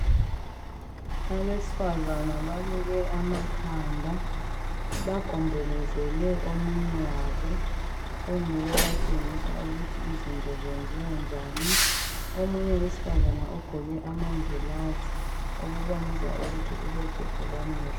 Abesifazana baluke amakhanda bagombolozele omunye wabo onguye obatshengisa ukuthi izinto zenziwa njani omunye owesifazane uqgoke amangilazi okubonisa ukuthi ulohlupho lwamehlo